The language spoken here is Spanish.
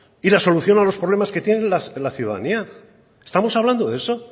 y la solución a los problemas que tiene la ciudadanía estamos hablando de eso